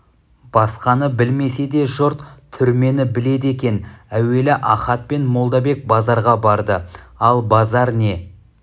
басқаны білмесе де жұрт түрмені біледі екен әуелі ахат пен молдабек базарға барды ал базар не